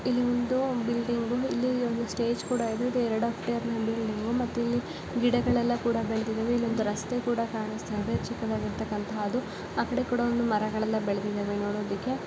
ಇಲ್ಲಿ ಒಂದು ಬಿಲ್ಡಿಂಗ್ ಇಲ್ಲಿ ಒಂದು ಸ್ಟೇಜ್ ಕೂಡ ಇದೆ ಎರಡ್ ಹೆಕ್ತೇರ್ನಲ್ಲಿದೆ ಮತ್ತೆ ಇಲ್ಲಿ ಗಿಡಗಳೆಲ್ಲ ಬೆಳೆದಿವೆ. ಇಲ್ಲಿ ಒಂದು ರಸ್ತೆ ಕೂಡ ಕಾಣಿಸ್ತಾ ಇದೆ ಚಿಕ್ಕದಾಗಿರೋತಕಂಥದ್ದು. ಆಕಡೆ ಕೂಡ ಮರಗಳು ಬೆಳೆದಿದ್ದಾವೆ ನೋಡೋದಿಕ್ಕೆ.